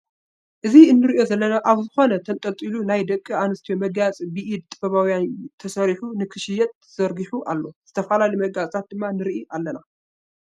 እዚ እንሪኦ ዘለና ኣብ ዝኪነ ተንጠልጢሉ ናይ ደቂ ኣነስትዮ መጋየፂ ብኢደ ጥበባውያን የሰሪሑ ንክሽየጥ ተዘርጊሑ ኣሎ። ዝተፈላለዩ መጋየፅታት ድማ ንርኢ ኣለና።